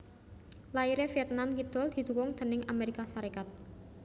Lairé Vietnam Kidul didhukung déning Amérika Sarékat